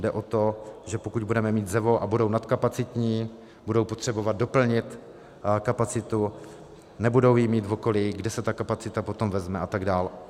Jde o to, že pokud budeme mít ZEVO a budou nadkapacitní, budou potřebovat doplnit kapacitu, nebudou ji mít v okolí, kde se ta kapacita potom vezme a tak dál.